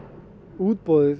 útboðið